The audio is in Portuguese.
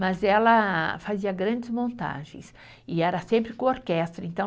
Mas ela fazia grandes montagens e era sempre com orquestra, então